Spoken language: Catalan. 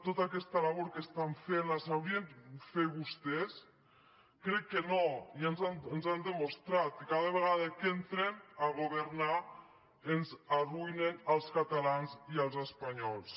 tota aquesta labor que estan fent la sabrien fer vostès crec que no ja ens ho han demostrat i cada vegada que entren a governar ens arruïnen als catalans i als espanyols